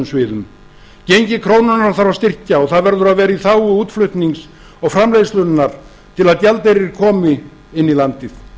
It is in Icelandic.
sviðum gengi krónunnar þarf að styrkja og það verður að vera í þágu útflutnings og framleiðslunnar til að gjaldeyrir komi inn í landið